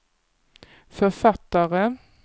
författare